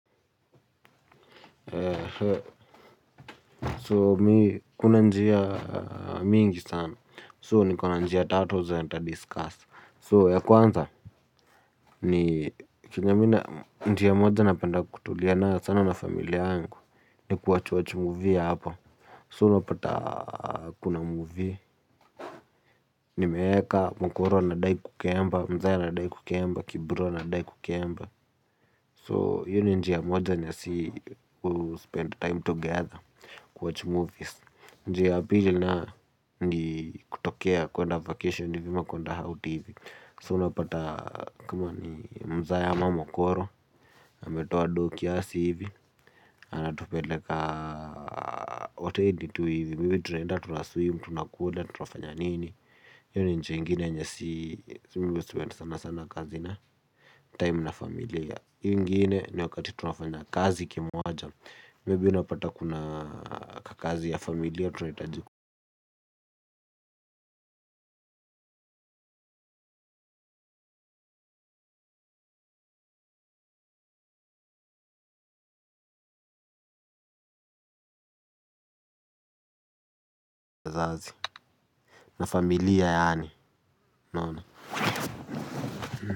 So mi kuna njia mingi sana. So ni kuna njia tatu zenye nita discuss. So ya kwanza ni kenye mimi na njia moja napenda kutulia nayo sana na familia angu. Ni kuwatchwatch movie hapa. So unapata kuna movie. Nimeeka mokoro anadai kukemba. Mzae anadai kukemba Kibro anadai kukemba. So hiyo ni njia moja ya si kuspend time together kuamwatch movies. Njia ya pili nayo ni kutokea kuenda vacation hivi ama kuenda out hivi. So unapata kama ni mzae ama mokoro ametoa doo kiasi hivi. Anatupeleka hotelii tu hivi. Mimi tunaenda tunaswim, tunakula, tunafanya nini hiyo ni njia ingine yenye si mimi huspend sana sana kazi na time na familia iyo ingine ni wakati tunafanya kazi kimoja Maybe unapata kuna kakazi ya familia. Tunahitaji ku tazazi na familia yaani.